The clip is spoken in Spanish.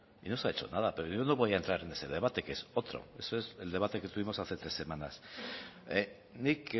y no se ha hecho nada pero yo no voy a entrar en ese debate que es otro ese es el debate que tuvimos hace tres semanas nik